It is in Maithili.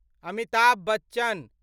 अमिताभ बच्चन